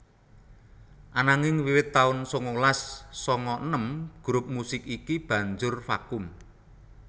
Ananging wiwit taun sangalas sanga enem grup musik iki banjur vakum